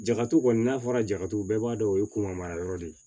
Jakatu kɔni n'a fɔra jakatuguw bɛɛ b'a dɔn o ye kunna mara yɔrɔ de ye